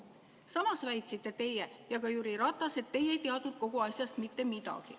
Samas väitsite teie ja väitis ka Jüri Ratas, et teie ei teadnud kogu asjast mitte midagi.